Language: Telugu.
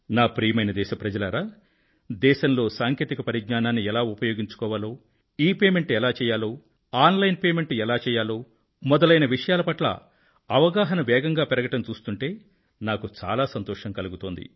ప్రియమైన నా దేశ ప్రజలారా దేశంలో సాంకేతిక పరిజ్ఞానాన్ని ఎలా ఉపయోగించుకోవాలో ఇపేమెంట్ ఎలా చెయ్యాలో ఆన్ లైన్ పేమెంట్ ఎలా చెయ్యాలో మొదలైన విషయాల పట్ల అవగాహన వేగంగా పెరగడం చూస్తుంటే నాకు చాలా సంతోషం కలుగుతోంది